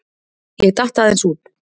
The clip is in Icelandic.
Ég datt aðeins út.